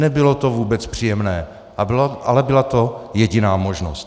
Nebylo to vůbec příjemné, ale byla to jediná možnost.